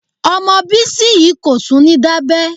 Ọmọ Bísí yìí kò tún ní dábẹ́.